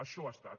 això ha estat